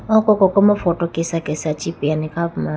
oko koko ma photo Kesha kesha chee peyayi ne kha puma.